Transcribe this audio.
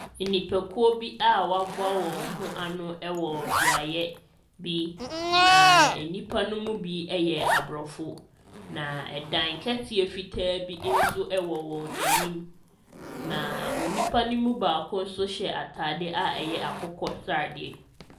Nnipakuo bi a wɔaboa wɔn ho ano wɔ beaeɛ bi, na nnipa no mu bi yɛ Aborɔfo, na ɛdan kɛseɛ fitaa bi nso wɔ wɔn anim, na nipa no mu baako nso hyɛ atadeɛ a ɛyɛ akokɔsradeɛ.